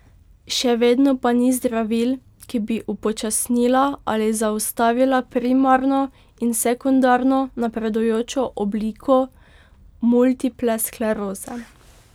Še vedno pa ni zdravil, ki bi upočasnila ali zaustavila primarno in sekundarno napredujočo obliko multiple skleroze.